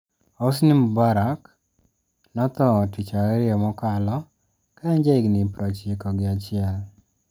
Hosni Mubarak notho Tich Ariyo mokalo ka en jahigni prochiko gi achiel.